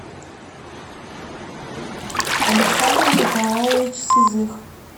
александр николаевич сизых